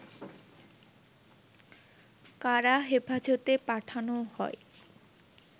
কারা হেফাজতে পাঠানো হয়